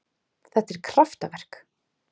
Þetta er kraftaverk.